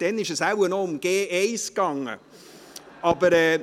Damals ging es wahrscheinlich noch um 1.